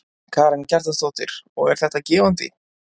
Karen Kjartansdóttir: Og er þetta gefandi?